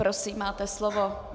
Prosím, máte slovo.